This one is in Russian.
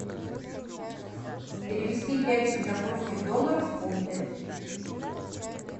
перевести пять сингапурских долларов в фунты